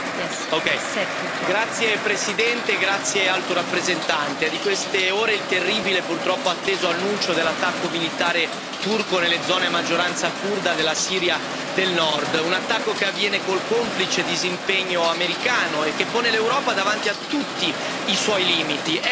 Signora Presidente, onorevoli colleghi, signora Alto rappresentante, è di queste ore il terribile e purtroppo atteso annuncio dell'attacco militare turco nelle zone a maggioranza curda della Siria del Nord. Un attacco che avviene col complice disimpegno americano e che pone l'Europa davanti a tutti i suoi limiti.